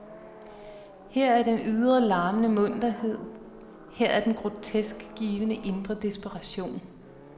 Her er den ydre, larmende munterhed, her er den grotesk givne indre desperation.